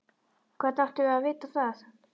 Hvernig áttum við að vita það?